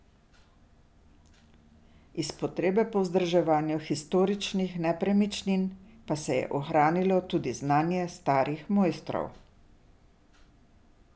Iz potrebe po vzdrževanju historičnih nepremičnin pa se je ohranilo tudi znanje starih mojstrov.